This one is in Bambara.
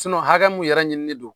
hakɛ mun yɛrɛ ɲinini don